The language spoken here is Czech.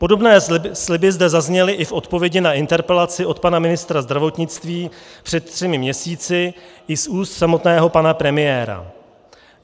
Podobné sliby zde zazněly i v odpovědi na interpelaci od pana ministra zdravotnictví před třemi měsíci, i z úst samotného pana premiéra.